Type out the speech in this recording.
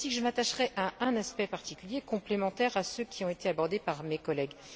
C'est ainsi que je m'attacherai à un aspect particulier, complémentaire à ceux qui ont été abordés par mes collègues.